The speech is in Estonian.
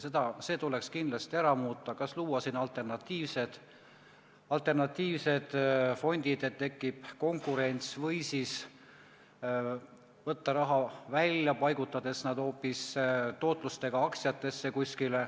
Ja see tuleks kindlasti ära muuta: kas luua alternatiivsed fondid, et tekiks konkurents, või siis võtta raha välja ja paigutada see suurema tootlusega aktsiatesse.